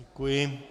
Děkuji.